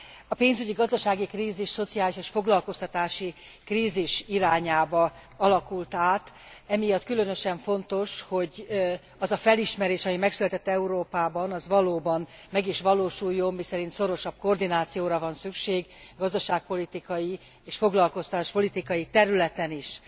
A pénzügyi, gazdasági krízis szociális és foglalkoztatási krízis irányába alakult át, emiatt különösen fontos, hogy az a felismerés, ami megszületett Európában, az valóban meg is valósuljon, miszerint szorosabb koordinációra van szükség gazdaságpolitikai és foglalkoztatáspolitikai területen is.